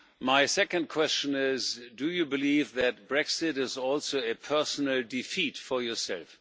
My second question is do you believe that Brexit is also a personal defeat for yourself?